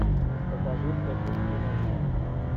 покажи кэтрин кинер